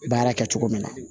Baara kɛ cogo min na